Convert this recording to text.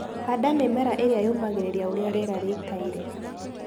Handa mĩmera ĩrĩa yũmagĩrĩria ũrĩa rĩera rĩikaire.